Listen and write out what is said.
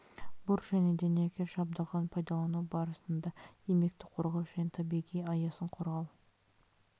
бур және дәнекер жабдығын пайдалану барысында еңбекті қорғау және табиғи аясын қорғау